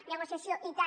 negociació i tant